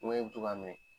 Ŋɛɲɛ bi to k'a minɛ